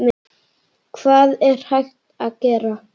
Hvað er hægt að gera?